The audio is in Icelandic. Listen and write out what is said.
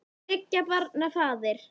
Þriggja barna faðir.